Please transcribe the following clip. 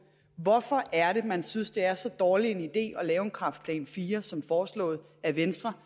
hvorfor er det man synes det er så dårlig en idé at lave en kræftplan iv som foreslået af venstre